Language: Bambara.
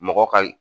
Mɔgɔ ka